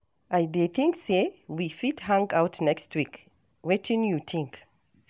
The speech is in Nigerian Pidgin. I dey think say we fit hang out next week, wetin you think?